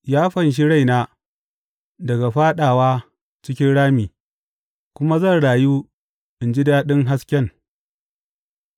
Ya fanshi raina daga fāɗawa cikin rami, kuma zan rayu in ji daɗin hasken.’